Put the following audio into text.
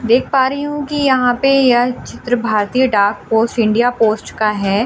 देख पा रही हूं कि यहां पे यह चित्र भारतीय डाक पोस्ट इंडिया पोस्ट का है।